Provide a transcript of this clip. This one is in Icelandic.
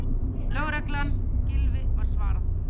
Lögreglan, Gylfi- var svarað.